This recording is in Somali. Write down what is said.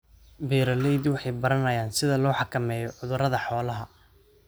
Beeraleydu waxay baranayaan sida loo xakameeyo cudurrada xoolaha.